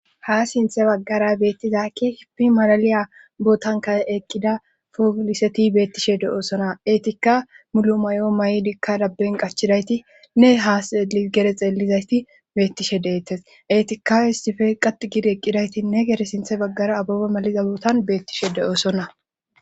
ha sinthe baggara beettizakki hipi malaliya bootanka eqqida fooliseti beettishe de7oosona etikka mulo may7o may7dikka dabben qachidaytinne haa xeei gere xeelizayti beettishe deettes eetikka histife qat gid eqqidaytinne gere sinthe baggara abobe maliza bootan beettishe de7oosonna